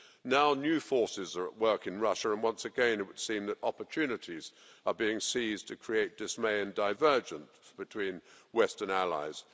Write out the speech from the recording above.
Now, new forces are at work in Russia and once again, it would seem that opportunities are being seized to create dismay and divergence between Western allies.